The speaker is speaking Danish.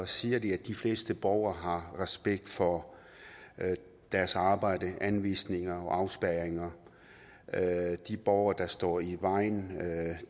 siger de at de fleste borgere har respekt for deres arbejde anvisninger og afspærringer at at borgere står i vejen